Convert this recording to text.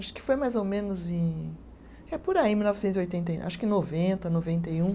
Acho que foi mais ou menos em, é por aí, em mil novecentos e oitenta e, acho que noventa, noventa e um